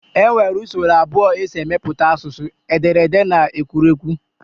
E nwere usoro abụọ e si emepụta asụsụ, ederede na ekwuruekwu